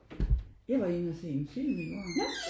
Jeg var inde og se en film i går